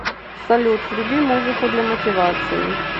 салют вруби музыку для мотивации